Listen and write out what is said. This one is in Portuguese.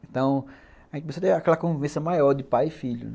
Então, a gente começou a ter aquela convivência maior de pai e filho, né?